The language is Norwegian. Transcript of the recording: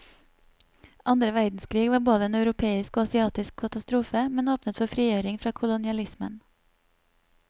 Andre verdenskrig var både en europeisk og asiatisk katastrofe, men åpnet for frigjøring fra kolonialismen.